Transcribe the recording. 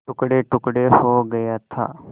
टुकड़ेटुकड़े हो गया था